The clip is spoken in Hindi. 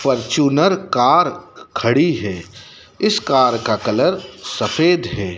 फॉर्च्यूनर कार खड़ी है इस कार का कलर सफेद है।